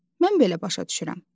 Mən belə başa düşürəm.